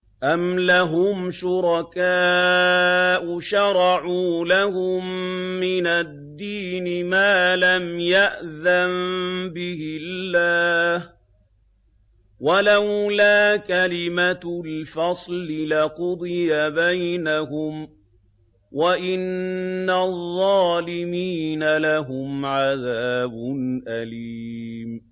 أَمْ لَهُمْ شُرَكَاءُ شَرَعُوا لَهُم مِّنَ الدِّينِ مَا لَمْ يَأْذَن بِهِ اللَّهُ ۚ وَلَوْلَا كَلِمَةُ الْفَصْلِ لَقُضِيَ بَيْنَهُمْ ۗ وَإِنَّ الظَّالِمِينَ لَهُمْ عَذَابٌ أَلِيمٌ